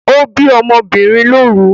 O bi ọ́mọ́ obìnrin lóru